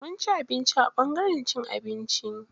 Mun ci abinci a ɓangaren cin abinci.